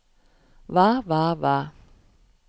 hva hva hva